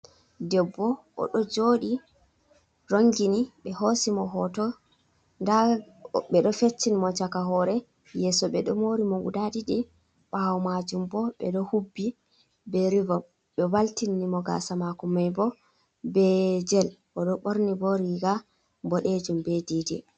Debbo oɗo joɗi rongini ɓe hosi mo hoto, nda ɓe ɗo feccin mo caka hore, yeso ɓeɗo mori mo guda ɗiɗi ɓawo majum bo ɓeɗo hubbi be rivom, ɓe valtinni mo gasa mako mai bo be jel, oɗo ɓorni bo riga boɗejum be danejum.